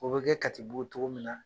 O bi kɛ Katibu togo min na